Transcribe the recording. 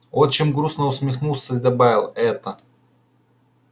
отчим грустно усмехнулся и добавил это